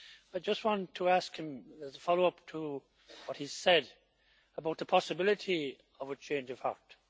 I just want to ask him, as a follow up to what he said, about the possibility of a change of heart.